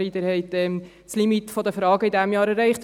«Sorry, Sie haben das Limit der Fragen in diesem Jahr erreicht.